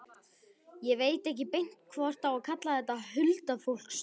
Ég veit ekki beint hvort á að kalla þetta huldufólkstrú.